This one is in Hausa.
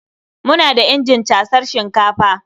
Muna da injin casar shinkafa.